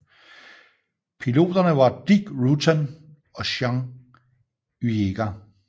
Piloterne var Dick Rutan og Jeana Yeager